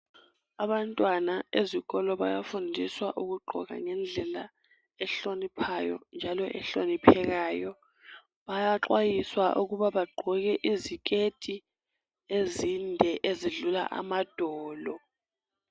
Abantwana ezikolo bayafundiswa ukugqoka ngendlela ehloniphayo njalo ehloniphekayo. Bayaxwayiswa ukuba bagqoke iziketi ezinde ezidlula amadolo.